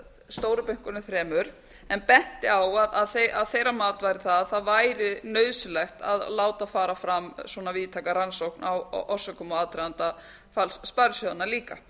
stóru bönkunum þremur en benti á að þeirra að væri það að það ætti nauðsyenglt að láta fara fram svona víðtæka rannsókn á orsökum og aðdraganda falls sparisjóðanna líka